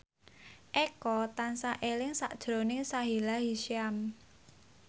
Eko tansah eling sakjroning Sahila Hisyam